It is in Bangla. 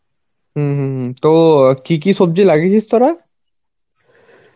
হম হম হম , তো কি কি সবজি লাগিয়েছিস তোরা?